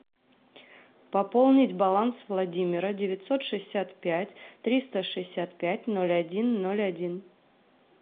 пополнить баланс владимира девятьсот шестьдесят пять триста шестьдесят пять ноль один ноль один